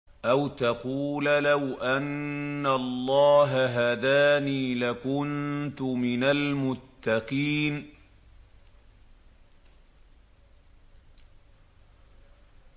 أَوْ تَقُولَ لَوْ أَنَّ اللَّهَ هَدَانِي لَكُنتُ مِنَ الْمُتَّقِينَ